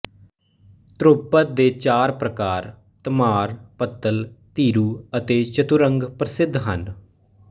ਧਰੁਵਪਦ ਦੇ ਚਾਰ ਪ੍ਰਕਾਰ ਧਮਾਰ ਪੱਤਲ ਧੀਰੂ ਅਤੇ ਚਤੁਰੰਗ ਪ੍ਰਸਿੱਧ ਹਨ